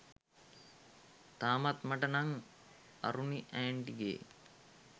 තාමත් මට නං අරුණි ඇන්ටිගේ